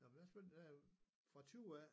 Nå men jeg spænede derud fra 20 af